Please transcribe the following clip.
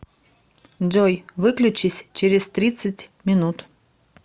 джой выключись через тридцать минут